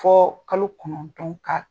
Fɔ kalo kɔnɔntɔn ka